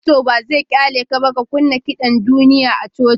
Fasto ba zai ƙyale ka ka kunna kiɗan duniya a coci ba.